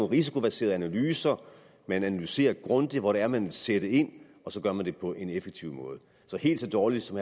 risikobaserede analyser man analyserer grundigt hvor det er man vil sætte ind og så gør man det på en effektiv måde så helt så dårligt som